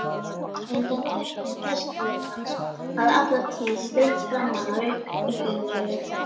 Undan tötrum persónuleikans hafði alla tíð streymt fram annar upprunalegri